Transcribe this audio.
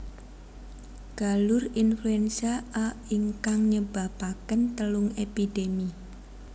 Galur influenza A ingkang nyebapaken telung epidemi